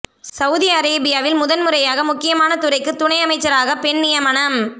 Saudi அரேபியாவில் முதல் முறையாக முக்கியமான துறைக்கு துணை அமைச்சராக பெண் நியமனம்